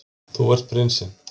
Þú ert prinsinn.